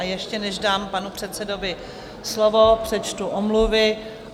A ještě než dám panu předsedovi slovo, přečtu omluvy.